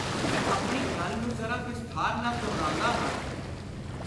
ਮੈਂ ਆਪਣੀ ਗੱਲ ਨੂੰ ਜ਼ਰਾ ਵਿਸਥਾਰ ਨਾਲ ਦੁਹਰਾਉਂਦਾ ਹਾਂ।